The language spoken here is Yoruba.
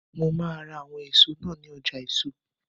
Mo máa ra àwọn ọsàn náà ní ọjà eèso